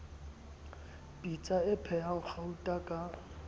pitsa e phehang gauta ka